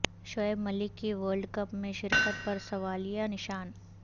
شعیب ملک کی ورلڈکپ میں شرکت پر سوالیہ نشان